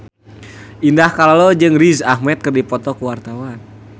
Indah Kalalo jeung Riz Ahmed keur dipoto ku wartawan